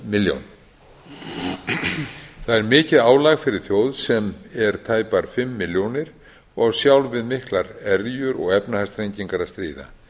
milljón það er mikið álag fyrir þjóð sem er tæpar fimm milljónir og á sjálf við miklar erjur og efnahagsþrengingar að stríða